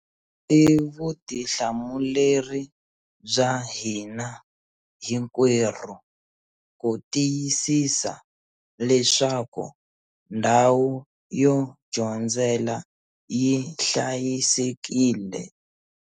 I vutihlamuleri bya hina hinkwerhu ku tiyisisa leswaku ndhawu yo dyondzela yi hlayisekile.